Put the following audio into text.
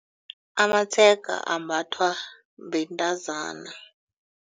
Amatshega ambathwa bentazana.